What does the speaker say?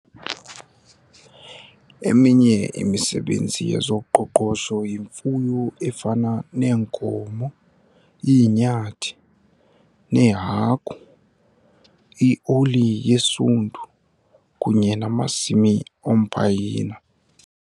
Eminye imisebenzi yezoqoqosho yimfuyo efana neenkomo, iinyathi neehagu, ioli yesundu kunye namasimi ompayina.